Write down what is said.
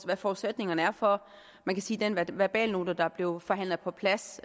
hvad forudsætningerne er for man kan sige den verbalnote der blev forhandlet på plads